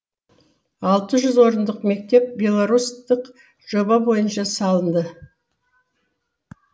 алтыжүз орындық мектеп белорустық жоба бойынша салынды